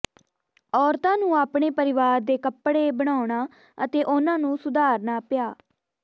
ਔਰਤਾਂ ਨੂੰ ਆਪਣੇ ਪਰਿਵਾਰ ਦੇ ਕੱਪੜੇ ਬਣਾਉਣਾ ਅਤੇ ਉਹਨਾਂ ਨੂੰ ਸੁਧਾਰਨਾ ਪਿਆ